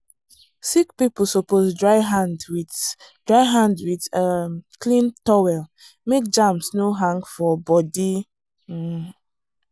sick people suppose dry hand with dry hand with um clean towel make germs no hang for body. um